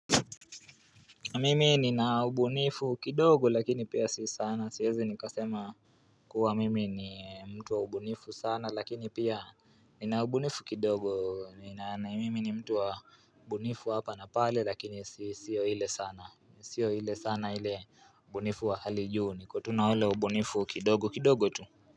Mimi nina ubunifu kidogo lakini pia si saana siwezi nikasema kuwa mimi ni mtu wa ubunifu sana lakini pia nina ubunifu kidogo Mimi ni mtu wa ubunifu hapa na pale lakini sio ile sana sio ile sana ile ubunifu wa hali juu niko tu na ule ubunifu kidogo kidogo tu.